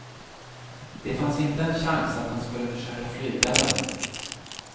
Det fanns inte en chans att han skulle försöka flyga den.